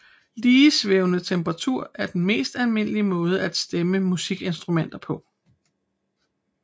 Ligesvævende temperatur er den mest almindelige måde at stemme musikinstrumenter på